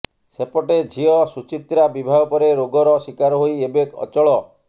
ସେପଟେ ଝିଅ ସୁଚିତ୍ରା ବିବାହ ପରେ ରୋଗର ଶିକାର ହୋଇ ଏବେ ଅଚଳ